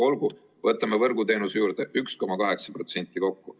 Olgu, võtame võrguteenuse juurde, 1,8% kokku.